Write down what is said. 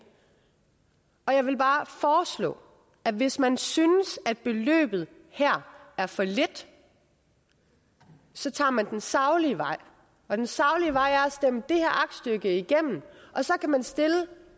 og jeg vil bare foreslå at hvis man synes at beløbet her er for lille så tager man den saglige vej og den saglige vej er at stemme det her aktstykke igennem så kan man stille